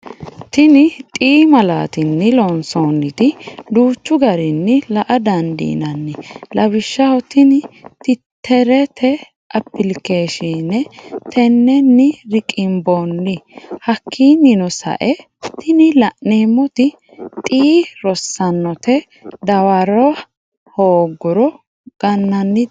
Tini x malati'ni loonsoniti duuchu garini la' a dandinanni, lawishaho tini titerete applikeshine teneni riqimbooni, hakininno sa'e tini la'neemoti x rossanote dawara hooguro gananite